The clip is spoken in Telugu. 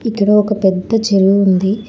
ఇందులో ఒక పెద్ద చెరువు ఉంది.